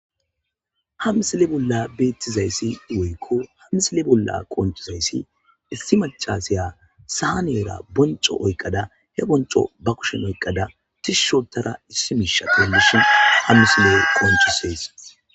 Hamisile bolla beettizayssi woykko hamisile bolla qoncizayssi issi macaseya saa neera bonco oyqada he bonco ba kushen oyqqada tishushotara issi miisha tellishin hamisile qoncisees.